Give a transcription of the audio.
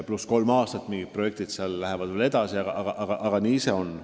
Umbes kolme aasta jooksul mingid projektid lähevad edasi, aga nii see on.